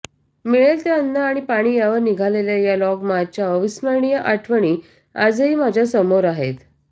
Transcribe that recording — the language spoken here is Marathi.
मिळेल ते अन्न आणि पाणी यावर निघालेल्या या लॉंगमार्चच्या अविस्मरणीय आठवणी आजही माझ्या समोर आहेत